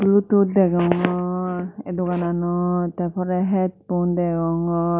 bluetooth degongor eh dogananot te porey headphone degongor.